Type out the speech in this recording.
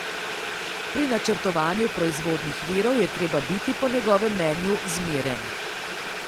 Pri načrtovanju proizvodnih virov je treba biti po njegovem mnenju zmeren.